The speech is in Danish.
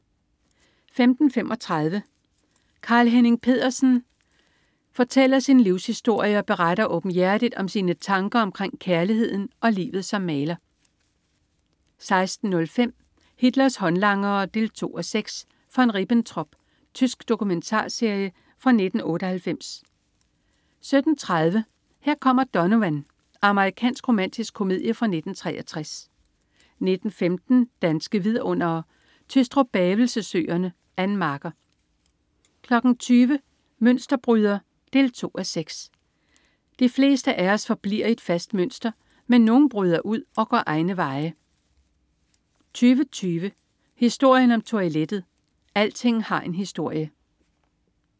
15.35 Carl-Henning Pedersen. Carl-Henning Pedersen fortæller sin livshistorie og beretter åbenhjertigt om sine tanker omkring kærligheden og livet som maler 16.05 Hitlers håndlangere 2:6. von Ribbentrop. Tysk dokumentarserie fra 1998 17.30 Her kommer Donovan. Amerikansk romantisk komedie fra 1963 19.15 Danske Vidundere: Tystrup-Bavelse Søerne. Ann Marker 20.00 Mønsterbryder 2:6. De fleste af os forbliver i et fastlagt mønster, men nogle bryder ud og går egne veje 20.20 Historien om toilettet. Alting har en historie!